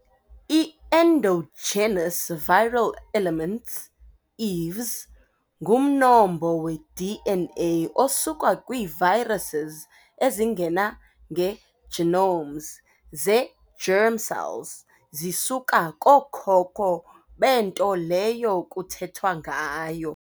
Ii-endogenous viral elements, EVEs, ngumnombo we-DNA osuka kwii-viruses ezingena ngee-genomes zee-germ cells. Zisuka kookhokho bento leyo kuthethwa ngayo.